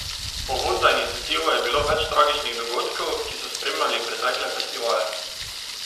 Povod za iniciativo je bilo več tragičnih dogodkov, ki so spremljali pretekle festivale.